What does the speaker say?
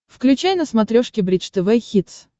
включай на смотрешке бридж тв хитс